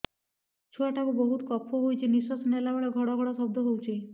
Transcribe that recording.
ଛୁଆ ଟା କୁ ବହୁତ କଫ ହୋଇଛି ନିଶ୍ୱାସ ନେଲା ବେଳେ ଘଡ ଘଡ ଶବ୍ଦ ହଉଛି